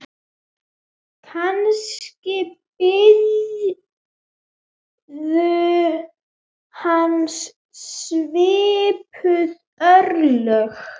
Kannski biðu hans svipuð örlög.